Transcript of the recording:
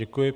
Děkuji.